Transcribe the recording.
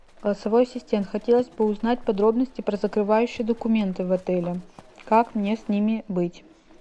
голосовой ассистент хотелось бы узнать подробности про закрывающие документы в отеле как мне с ними быть